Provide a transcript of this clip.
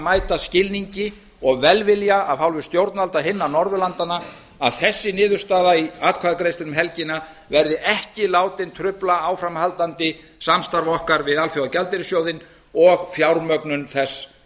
mæta skilningi og velvilja af hálfu stjórnvalda hinna norðurlandanna að þessi niðurstaða í atkvæðagreiðslunni um helgina verði ekki látin trufla áframhaldandi samstarf okkar við alþjóðagjaldeyrissjóðinn og fjármögnun þess